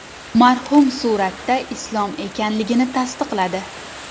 Marhum suratda Islom ekanligini tasdiqladi.